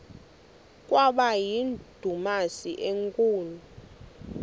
kwaba yindumasi enkulu